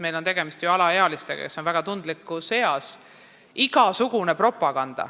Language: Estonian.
Meil on tegemist ju alaealistega, kes on väga tundlikus eas.